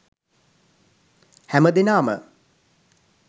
හැමදෙනාම